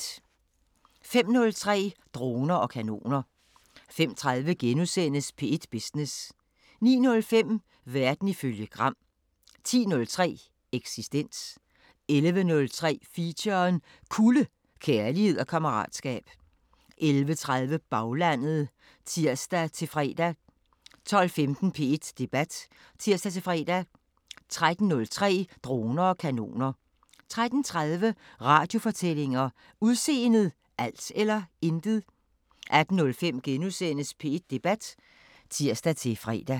05:03: Droner og kanoner 05:30: P1 Business * 09:05: Verden ifølge Gram 10:03: Eksistens 11:03: Feature: Kulde – kærlighed og kammeratskab 11:30: Baglandet (tir-fre) 12:15: P1 Debat (tir-fre) 13:03: Droner og kanoner 13:30: Radiofortællinger: Udseendet – alt eller intet? 18:05: P1 Debat *(tir-fre)